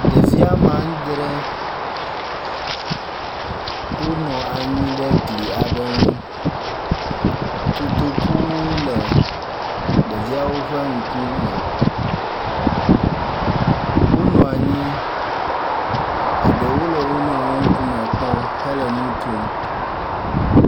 Ɖevi wome adre wonɔ anyi ɖe gli aɖe ŋu, kotoku le ɖeviawo ƒe ŋku me, wonɔ nyi, eɖewo le wo nɔewo ƒe ŋku me kpɔm hele nukom